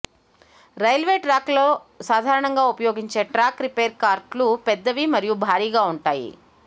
railway ట్రాక్లలో సాధారణంగా ఉపయోగించే ట్రాక్ రిపేర్ కార్ట్లు పెద్దవి మరియు భారీగా ఉంటాయి